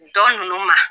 Dɔ ninnu ma